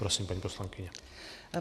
Prosím, paní poslankyně.